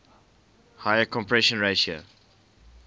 higher compression ratio